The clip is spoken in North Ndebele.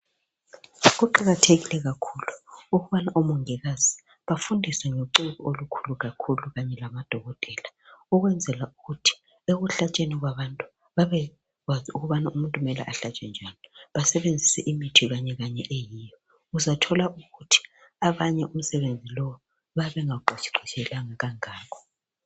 Kuqakathekile kakhulu ukubana omongikazi bafundiswe ngociko olukhulu kakhulu kanye lamadokotela ukwenzela ukuthi ekuhlatshweni kwabantu babekwazi ukuthi umuntu kumele uhlatshwe njani basebenzise imithi kanye kanye eyiyo. Uzathola ukuthi abanye umsebenzi lowu bayabe bengawuqeqetshelanga kangako.